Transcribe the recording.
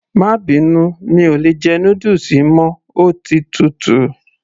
má bínú, mi ò lè jẹ noodles yìí mọ́, ó ti tutù